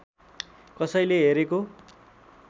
कसैले हेरेको